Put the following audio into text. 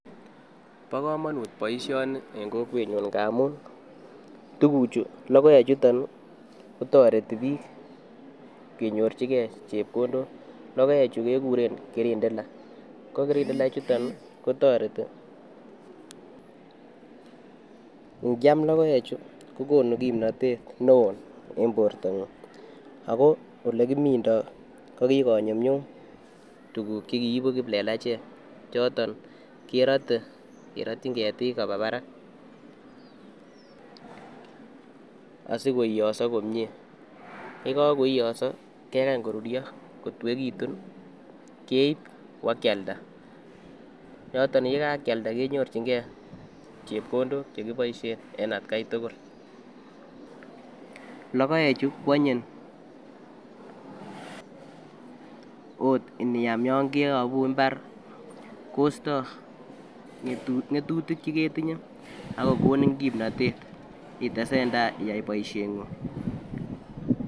Bokomomut boisioni en kokwenyun ngamun tukuchu logoechuton kotoreti biik kenyorchike chepkondok logoechu kekuren kirindila, kokirindila chutet kotoreti ingiam logoechu kokonu kipnotet neo en bortangung ako olekimindo kokikonyumnyum tuku chekiipu kiplelachek choton kerote kerotyin ketik kopaa parak asikoiyoso komie yekokoiyoso kekany korurio kotuekitu keip iwakyalda yoton yekakialda kenyorchingee chepkondok chekiboisien en atkai tugul logoechu kwonyin oot iniam yon keyopu mbar kosto ngetutik cheketinye akokonin kimnotet itesen taa boisiengung.